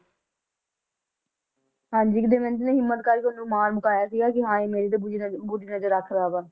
ਹਾਂਜੀ ਦਮਿਅੰਤੀ ਨੇ ਹਿੰਮਤ ਕਰਕੇ ਉਸਨੂੰ ਮਾਰ ਮੁਕਾਇਆ ਸੀ ਕਿ ਹਾਂ ਮੇਰੀ ਤੇ ਬੁਰੀ ਨਜਰ ਬੁਰੀ ਨਜਰ ਰੱਖਦਾ ਵਾ